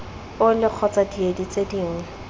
ole kgotsa diedi tse dingwe